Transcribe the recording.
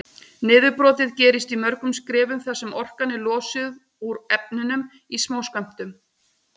Niðurbrotið gerist í mörgum skrefum þar sem orkan er losuð úr efnunum í smáskömmtum.